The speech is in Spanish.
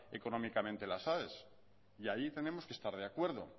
económicamente las aes y ahí tenemos que estar de acuerdo